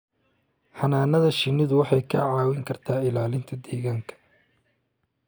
Xannaanada shinnidu waxay kaa caawin kartaa ilaalinta deegaanka